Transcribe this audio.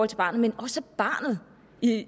til barnet men at barnet i